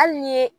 Hali ni ye